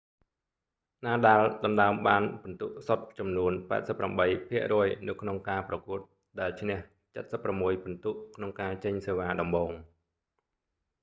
nadal ដណ្តើមបានពិន្ទុសុទ្ធចំនួន 88% នៅក្នុងការប្រកួត ដែលឈ្នះ 76 ពិន្ទុ ក្នុងការចេញសេវាដំបូង